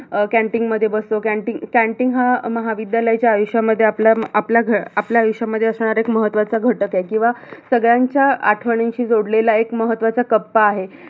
अं canteen मध्ये बसतो canteen canteen हा महाविद्यालयाच्या आयुष्यामध्ये आपल्या आपल्या आयुष्यामध्ये असणारा एक महत्त्वाचा घटकय किवा सगळ्यांच्या आठवणींशी जोडलेला एक महत्त्वाचा कप्पा आहे.